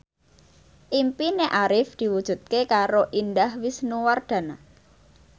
impine Arif diwujudke karo Indah Wisnuwardana